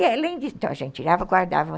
E além disso, a gente tirava, guardava.